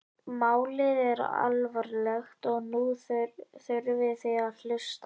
Málið er alvarlegt og nú þurfið þið að hlusta?